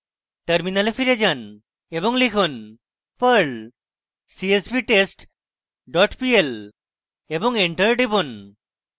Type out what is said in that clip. terminal ফিরে যান এবং লিখুন: perl csvtest pl এবং enter টিপুন